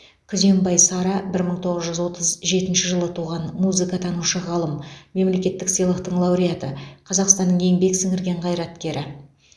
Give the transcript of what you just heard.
күзембай сара бір мың тоғыз жүз отыз жетінші жылы туған музыкатанушы ғалым мемлекеттік сыйлықтың лауреаты қазақстанның еңбек сіңірген қайраткері